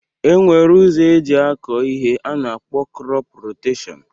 E nwere ụzọ eji akọ ihe a na-akpọ krọp roteshọn